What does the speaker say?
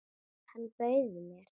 Hann bauð mér!